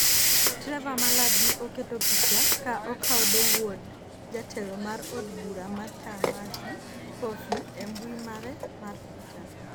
Trevor Mallard ne oketo picha ka okaodo wuod jatelo mar od bura ma TÄĂmati Coffey e mbui mare mar Twitter.